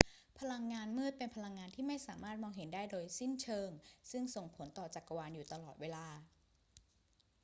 พลังงานมืด เป็นพลังที่ไม่สามารถมองเห็นได้โดยสิ้นเชิงซึ่งส่งผลต่อจักรวาลอยู่ตลอดเวลา